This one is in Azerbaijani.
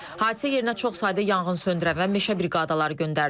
Hadisə yerinə çox sayda yanğınsöndürən və meşə briqadaları göndərilib.